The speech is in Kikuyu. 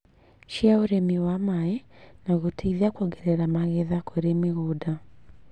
cia ũrĩmi wa maĩ na gũteithia kuongerera magetha kũrĩ mĩgũnda.